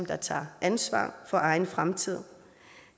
der tager ansvar for egen fremtid